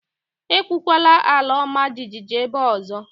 Ekwukwala àlà ọma jijiji ébé a ọzọ